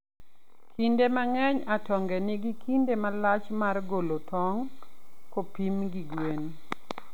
Kinde mang'eny, atonge nigi kinde malach mar golo tong' kopim gi gwen.